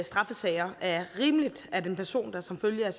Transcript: straffesager er rimeligt at personer der som følge af